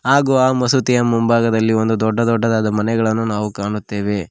ಹಾಗು ಆ ಮಸೂತಿಯ ಮುಂಭಾಗದಲ್ಲಿ ಒಂದು ದೊಡ್ಡ ದೊಡ್ಡದಾದ ಮನೆಗಳನ್ನು ನಾವು ಕಾಣುತ್ತೆವೆ.